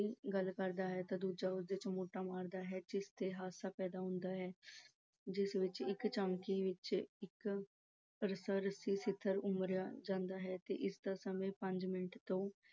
ਗੱਲ ਕਰਦਾ ਹੈ ਤਾਂ ਦੂਜਾ ਉਸ ਦੇ ਚਮੋਟਾ ਮਾਰਦਾ ਹੈ ਜਿਸ ਤੇ ਹਾਸਾ ਪੈਦਾ ਹੁੰਦਾ ਹੈ। ਇਸ ਵਿੱਚ ਇੱਕ ਝਾਕੀ ਵਿੱਚ ਇੱਕ ਹਾਸ-ਰਸੀ ਸਿਖਰ ਉਸਾਰਿਆ ਜਾਂਦਾ ਹੈ ਤੇ ਇਸ ਦਾ ਸਮਾਂ ਪੰਜ ਮਿੰਟ ਤੋਂ